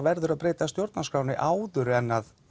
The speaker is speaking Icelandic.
verður að breyta stjórnarskránni áður en